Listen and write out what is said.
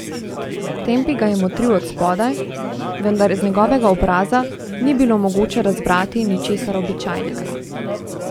Tempi ga je motril od spodaj, vendar z njegovega obraza ni bilo mogoče razbrati ničesar običajnega.